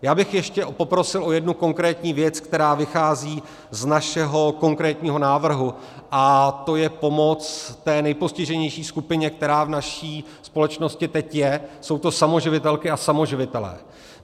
Já bych ještě poprosil o jednu konkrétní věc, která vychází z našeho konkrétního návrhu, a to je pomoc té nejpostiženější skupině, která v naší společnosti teď je, jsou to samoživitelky a samoživitelé.